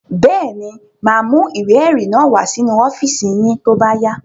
Bẹ́ẹ̀ ni, mà á mú ìwé-ẹ̀rí náà wá sínú ọ́fíísì yín tó bá yá.